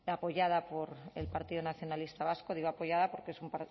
apoyada por el partido nacionalista vasco digo apoyada porque es un